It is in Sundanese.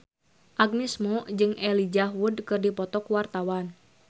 Agnes Mo jeung Elijah Wood keur dipoto ku wartawan